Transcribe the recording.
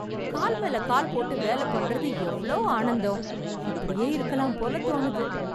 கால் மேல கால் போட்டு வேல பண்றது எவ்ளோ ஆனந்தம்! இப்படியே இருக்கலாம் போல தோணுது.